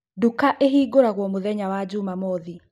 Nduka ĩkahingũrwo mũthenya wa Jumamothĩ